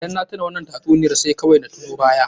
Idan na tuna wannan tatsuniyar sai kawai na tuno baya.